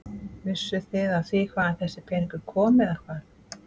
Vissuð þið af því hvaðan þessi peningur kom eða hvað?